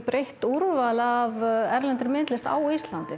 breitt úrval af erlendri myndlist á Íslandi